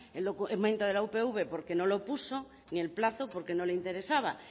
el documento de la upv porque no lo puso ni el plazo porque no le interesaba